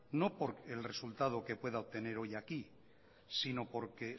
no por el resultado que pueda obtener hoy sino porque